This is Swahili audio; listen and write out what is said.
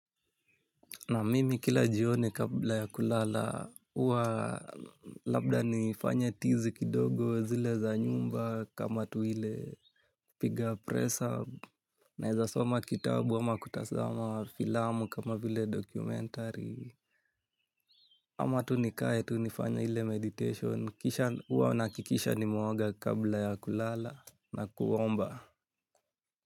Na mimi kila jioni kabla ya kulala, uwa labda nifanye tizi kidogo zile za nyumba kama tu ile kupiga press up, naeza soma kitabu ama kutasama filamu kama vile documentary ama tu nikae tu nifanye ile meditation, uwa naakikisha nimeoga kabla ya kulala na kuomba.